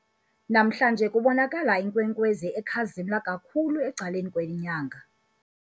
Namhlanje kubonakala inkwenkwezi ekhazimla kakhulu ecaleni kwenyanga.